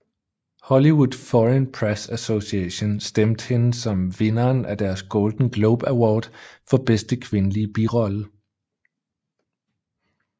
Hollywood Foreign Press Association stemte hende som vinderen af deres Golden Globe Award for bedste kvindelige birolle